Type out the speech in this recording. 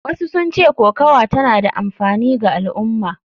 Wasu sun ce kokawa tana da amfani ga al’umma.